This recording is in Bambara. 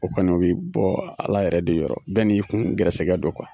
O kɔni o be bɔ ala yɛrɛ de yɔrɔ bɛɛ kun gɛrɛsɛgɛ don kuwa